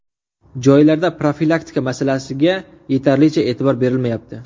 Joylarda profilaktika masalasiga yetarlicha e’tibor berilmayapti.